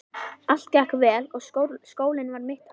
Allt gekk vel og skólinn var mitt athvarf.